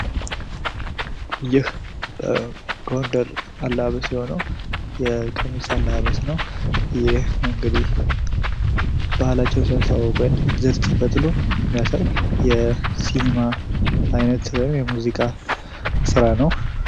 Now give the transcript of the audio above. ይህ የጎንደር አለባበስ የሆነው የቀሚስ አለባበስ ነው። ይህ እንግዲህ ባህላቸውን ሲያስተዋውቁ እንዝርት ሲፈትሉ የሚያሳይ የሲኒማ አይነት ወይም የሙዚቃ ስራ ነው።